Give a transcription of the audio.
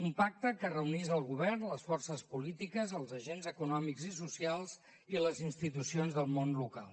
un pacte que reunís el govern les forces polítiques els agents econòmics i socials i les institucions del món local